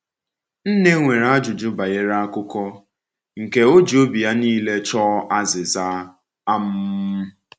Nne nwere ajụjụ banyere akụkọ, nke o ji obi ya niile chọọ azịza. um